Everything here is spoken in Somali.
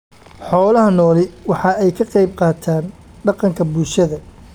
Xoolaha nooli waxa ay ka qayb qaataan dhaqanka bulshada.